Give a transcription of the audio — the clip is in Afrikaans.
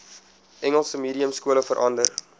engels mediumskole verander